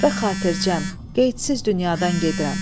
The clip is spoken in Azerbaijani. Və xatiricəm, qeydsiz dünyadan gedirəm.